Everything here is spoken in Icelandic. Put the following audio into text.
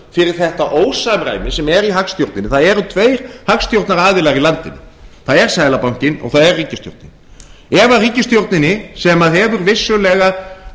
fyrir þetta ósamræmi sem er í hagstjórninni það eru tveir hagstjórnaraðilar í landinu það er seðlabankinn og það er ríkisstjórnin ef ríkisstjórninni sem hefur vissulega